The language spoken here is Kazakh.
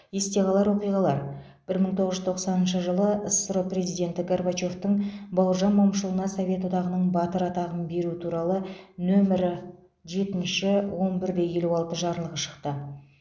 есте қалар оқиғалар бір мың тоғыз жүз тоқсаныншы жылы ссро президенті горбачевтың бауыржан момышұлына совет одағының батыры атағын беру туралы нөмірі жетінші он бір де елу алты жарлығы шықты